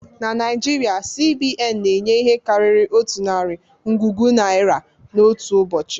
Na Naijiria, C.B.N na-enye ihe karịrị otu narị ngwugwu naira n'otu ụbọchị